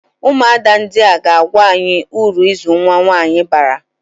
Ụmụada ndia ha ga-agwa anyị ụrụ ịzụ nwa nwaanyị bara?